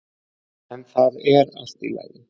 En það er allt í lagi.